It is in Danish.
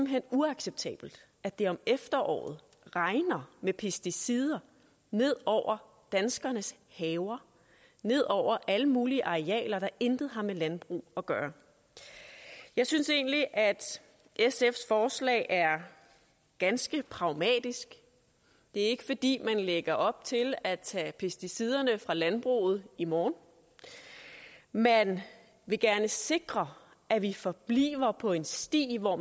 hen uacceptabelt at det om efteråret regner med pesticider ned over danskernes haver ned over alle mulige arealer der intet har med landbrug at gøre jeg synes egentlig at sfs forslag er ganske pragmatisk det er ikke fordi lægger op til at tage pesticiderne fra landbruget i morgen man vil gerne sikre at vi forbliver på en sti hvor